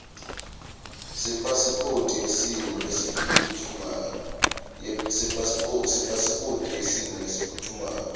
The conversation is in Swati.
sepasiphothi yesimo lesiphutfumako